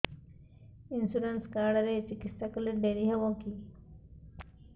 insurance card ରେ ଚିକିତ୍ସା କଲେ ଡେରି ହବକି